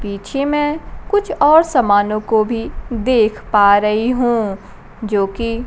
पीछे में कुछ और सामानों को भी देख पा रही हूं जोकि --